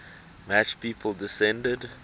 match people descended